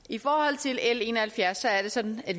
i forhold til l en og halvfjerds er det sådan at